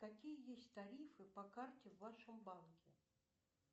какие есть тарифы по карте в вашем банке